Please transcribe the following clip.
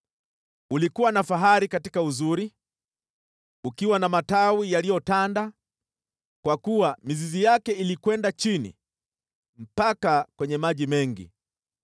Ulikuwa na fahari katika uzuri, ukiwa na matawi yaliyotanda, kwa kuwa mizizi yake ilikwenda chini mpaka kwenye maji mengi.